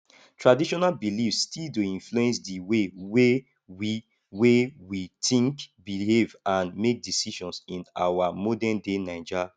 traditional beliefs still dey influence the way wey we wey we think behave and make decisions in our modernday naija